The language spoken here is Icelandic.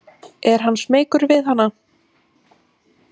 Er hann smeykur við hana?